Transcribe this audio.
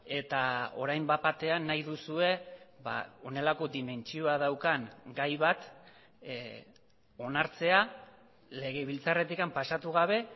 eta orain bat batean nahi duzue honelako dimentsioa daukan gai bat onartzea legebiltzarretik pasatu gabe